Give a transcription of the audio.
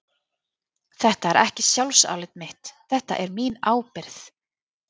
Þetta er ekki sjálfsálit mitt, þetta er mín ábyrgð.